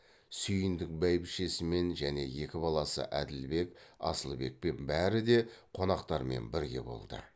сүйіндік бәйбішесімен және екі баласы әділбек асылбекпен бәрі де қонақтармен бірге болды